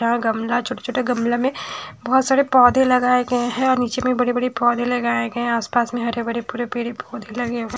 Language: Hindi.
यहां गमला छोटा-छोटा गमला में बहोत सारे पौधे लगाए गए हैं और नीचे में बड़े-बड़े पौधे लगाए गए हैं आसपास में हरे भरे पूरे पेड़ पौधे ही लगे हुए है।